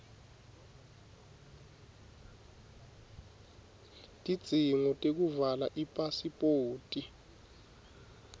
tidzingo tekuvala ipasiphoti